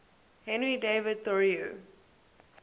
henry david thoreau